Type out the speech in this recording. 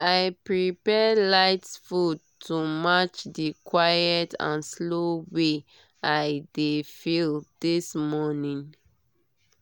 i prepare light food to match the quiet and slow way i dey feel this morning.